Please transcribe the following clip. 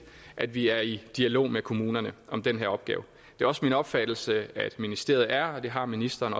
at vi er i dialog med kommunerne om den her opgave det det også min opfattelse at ministeriet er og det har ministeren